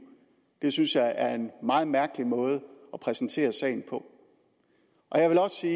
synes jeg er en meget mærkelig måde at præsentere sagen på jeg vil også sige